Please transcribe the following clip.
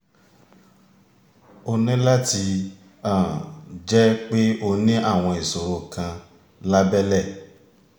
ó ní láti um jẹ́ pé ó ní àwọn ìṣòro kan lábẹ́lẹ̀